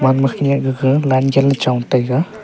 ama khenyak gaga line chenley chong taiga.